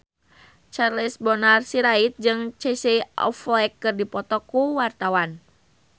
Charles Bonar Sirait jeung Casey Affleck keur dipoto ku wartawan